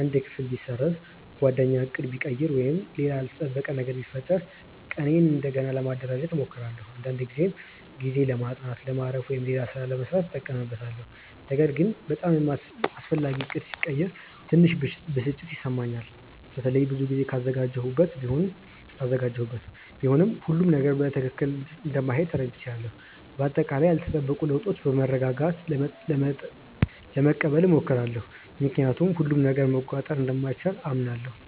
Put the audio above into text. አንድ ክፍል ቢሰረዝ፣ ጓደኛ ዕቅድ ቢቀይር ወይም ሌላ ያልተጠበቀ ነገር ቢፈጠር ቀኔን እንደገና ለማደራጀት እሞክራለሁ። አንዳንዴ ይህን ጊዜ ለማጥናት፣ ለማረፍ ወይም ሌላ ሥራ ለመሥራት እጠቀምበታለሁ። ነገር ግን በጣም አስፈላጊ ዕቅድ ሲቀየር ትንሽ ብስጭት ይሰማኛል፣ በተለይ ብዙ ጊዜ ካዘጋጀሁበት። ቢሆንም ሁሉም ነገር በትክክል እንደማይሄድ ተረድቻለሁ። በአጠቃላይ ያልተጠበቁ ለውጦችን በመረጋጋት ለመቀበል እሞክራለሁ፣ ምክንያቱም ሁሉንም ነገር መቆጣጠር እንደማይቻል አምናለሁ።